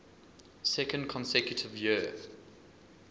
second consecutive year